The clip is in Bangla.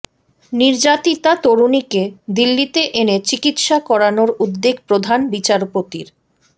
নির্যাতিতা তরুণীকে দিল্লিতে এনে চিকিৎসা করানোর উদ্যোগ প্রধান বিচারপতির